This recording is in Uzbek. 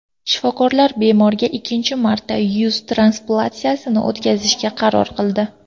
Shifokorlar bemorga ikkinchi marta yuz transplantatsiyasini o‘tkazishga qaror qildi.